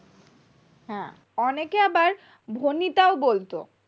অনেকে আবার ভনিতা ও বলতো